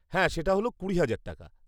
হ্যাঁ, সেটা হল কুড়ি হাজার টাকা।